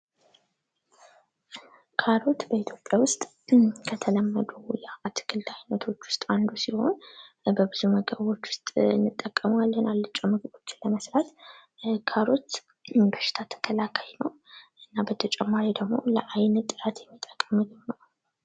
ካሮት በኢትዮጵያ ውስጥ ከተለመዱ የአትክልት አይነቶች ውስጥ አንዱ ሲሆን በብዙ ምግቦች ውስጥ እንጠቀመዋለን አልጫ ምግቦችን ለመስራት። ካሮት በሽታ ተከላካይ ነው። በተጨማሪ ደግሞ ለአይን ጥራት የሚጠቅም ምግብ ነው።